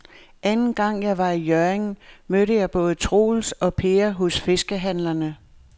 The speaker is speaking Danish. Anden gang jeg var i Hjørring, mødte jeg både Troels og Per hos fiskehandlerne.